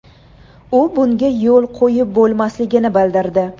U bunga yo‘l qo‘yib bo‘lmasligini bildirdi.